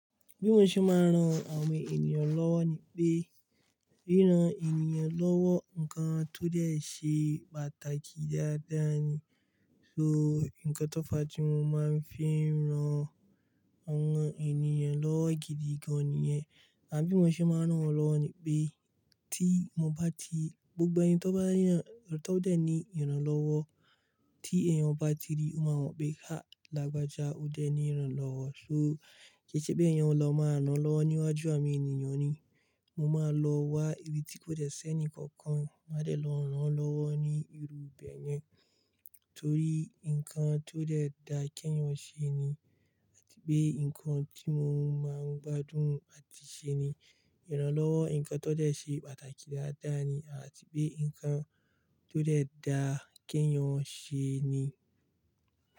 Bí mo ṣe máa ń ran àwọn ènìyàn lọ́wọ́ ni pé, ríran ènìyàn lọ́wọ́ nǹkan tó dẹ̀ ṣe pàtàkì dáadáa ni. So nǹkan tó ọ̀fa tí mo máa ń fi ń ran àwọn ènìyàn lọ́wọ́ gidi gan-an nìyẹn. Àbí mo ṣe máa ń ràn wọ́n lọ́wọ́ ni pé tí mo bá ti, gbogbo ẹni tó bá ní ràn-- tó dẹ̀ ní ìrànlọ́wọ́ tí ẹ̀yàn bá ti rí, mo máa mọ̀ pé ká làgbájá ó dẹ̀ ní ìrànlọ́wọ́. So kí í ṣe pé ẹ̀yàn lọ máa ń rànlọ́wọ́ níwájú àwọn ènìyàn ni, mo máa lọ wá ibi tí kò dẹ̀ ṣẹ́ni kankan máa dẹ̀ lọ rán lọ́wọ́ ní irú ibẹ̀ yẹn. Torí nǹkan tó dẹ̀ da kẹ́yàn ṣe ni àti pé nǹkan tí mo máa ń gbádùn àti ṣe ni. Ìrànlọ́wọ́ nǹkan tó dẹ̀ ṣe pàtàkì dáadáa ni àti pé nǹkan tó dẹ̀ da kẹ́yàn ṣe ni.